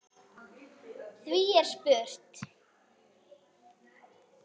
Því er spurt